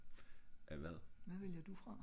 af hvad?